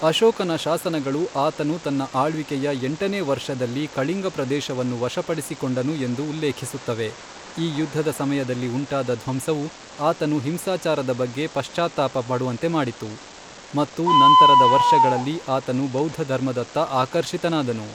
ಅಶೋಕನ ಶಾಸನಗಳು ಆತನು ತನ್ನ ಆಳ್ವಿಕೆಯ ಎಂಟನೇ ವರ್ಷದಲ್ಲಿ ಕಳಿಂಗ ಪ್ರದೇಶವನ್ನು ವಶಪಡಿಸಿಕೊಂಡನು ಎಂದು ಉಲ್ಲೇಖಿಸುತ್ತವೆ ಈ ಯುದ್ಧದ ಸಮಯದಲ್ಲಿ ಉಂಟಾದ ಧ್ವಂಸವು ಆತನು ಹಿಂಸಾಚಾರದ ಬಗ್ಗೆ ಪಶ್ಚಾತ್ತಾಪ ಪಡುವಂತೆ ಮಾಡಿತು, ಮತ್ತು ನಂತರದ ವರ್ಷಗಳಲ್ಲಿ, ಆತನು ಬೌದ್ಧ ಧರ್ಮದತ್ತ ಆಕರ್ಷಿತನಾದನು.